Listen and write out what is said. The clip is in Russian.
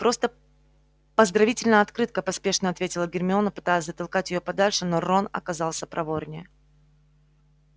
просто поздравительная открытка поспешно ответила гермиона пытаясь затолкать её подальше но рон оказался проворнее